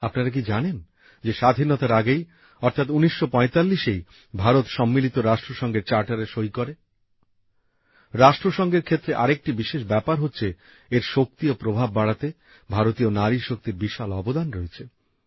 আপনারা কি জানেন যে স্বাধীনতার আগেই অর্থাৎ ১৯৪৫এই ভারত সম্মিলিত রাষ্ট্রসংঘের সনদে সই করে রাষ্ট্রসংঘের ক্ষেত্রে আরেকটি বিশেষ ব্যাপার হচ্ছে এর শক্তি ও প্রভাব বাড়াতে ভারতীয় নারী শক্তির বিশাল অবদান রয়েছে